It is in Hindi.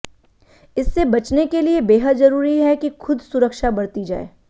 इससे बचने के लिए बेहद जरूरी है कि खुद सुरक्षा बरती जाए